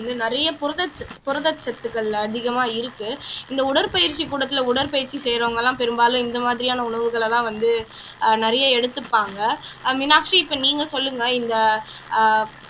நிறைய புரதச் சத் புரதச் சத்துக்கள் அதிகமா இருக்கு இந்த உடற்பயிற்சி கூடத்துல உடற்பயிற்சி செய்யறவங்கதான் பெரும்பாலும் இந்த மாதிரியான உணவுகளைதான் வந்து ஆஹ் நிறைய எடுத்துப்பாங்க ஆஹ் மீனாட்சி இப்போ நீங்க சொல்லுங்க இந்த ஆஹ்